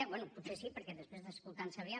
bé potser sí perquè després d’escoltar en sabrià